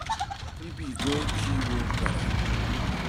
Ibi go chiwo karang'o?